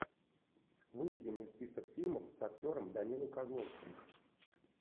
выведи мне список фильмов с актером данилой козловским